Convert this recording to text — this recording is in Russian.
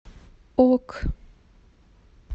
ок